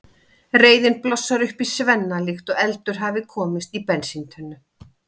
Reiðin blossar upp í Svenna líkt og eldur hafi komist í bensíntunnu.